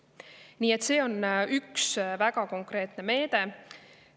Nii et see on üks väga konkreetne meede.